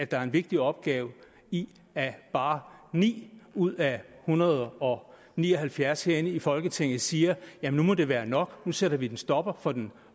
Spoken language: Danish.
der er en vigtig opgave i at bare ni ud af en hundrede og ni og halvfjerds herinde i folketinget siger at nu må det være nok at nu sætter vi en stopper for den